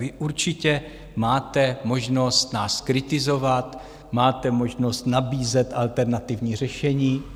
Vy určitě máte možnost nás kritizovat, máte možnost nabízet alternativní řešení.